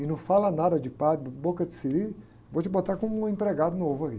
E não fala nada de padre, boca de siri, vou te botar como um empregado novo aí.